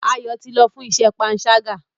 Ayo tí lọ fún iṣé panṣaga.